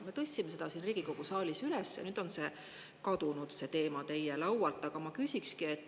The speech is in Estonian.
Me tõstsime selle teema siin Riigikogu saalis üles, aga nüüd on see teema teie laualt kadunud.